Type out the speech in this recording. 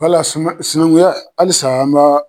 Wala suma sinaŋuya halisa an b'a